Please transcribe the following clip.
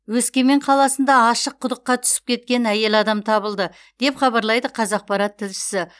өскемен қаласында ашық құдыққа түсіп кеткен әйел адам табылды деп хабарлайды қазақпарат тілшісі